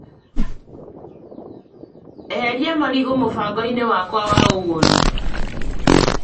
Eheria marigũ mũbango-inĩ wakwa wa ũgũri .